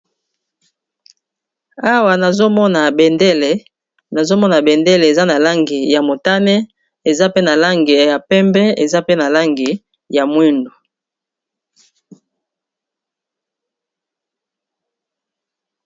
Awa nazomona bendele nazomona bendele eza na langi ya motane eza pe na langi ya pembe eza pe na langi ya mwindu.